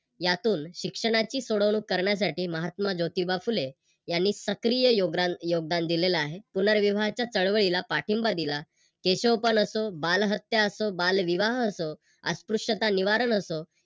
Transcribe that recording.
यातून शिक्षणाची सोडवणूक करण्यासाठी महात्मा जोतिबा फुले यांनी सक्रिय योगदान योगदान दिलेले आहे. पुनर्विवाहाच्या चळवळीला पाठिंबा दिला. केशवपण असो, बालहत्या असो, बालविवाह असो अस्पृश्यता निवारण असो